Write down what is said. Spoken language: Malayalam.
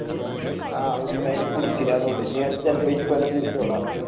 ആ ഉസ്താദ് എന്നെ പിടിച്ചില്ലന്നെ ഉള്ളു ഇനി ഉസ്താദ് ഇക്കൊല്ലം പിടിച്ചോളാ